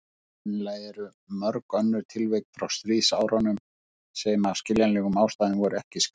Sennilega eru mörg önnur tilvik frá stríðsárunum sem af skiljanlegum ástæðum voru ekki skráð.